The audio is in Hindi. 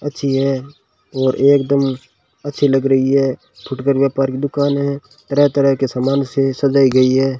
अच्छी है और एकदम अच्छी लग रही है फूड कर व्यापार की दुकान है तरह तरह के समान से सजाई गयी है।